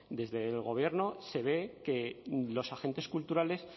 desde el gobierno se ve que los agentes culturales